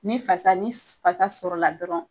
Ni fasa ni fasa sɔrɔla la dɔrɔn